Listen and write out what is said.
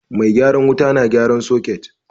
Mai gyaran wuta na gyaran soket